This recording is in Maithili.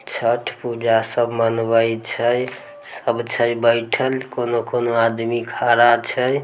छठ पूजा सब मनबे छै सब छै बैठल कोनो-कोनो आदमी खड़ा छै।